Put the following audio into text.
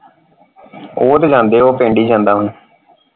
ਉਹ ਤੇ ਜਾਂਦੇ ਉਹ ਪਿੰਡ ਹੀ ਜਾਂਦਾ ਹੁਣ।